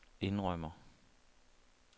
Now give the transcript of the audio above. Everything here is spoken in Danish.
indrømmer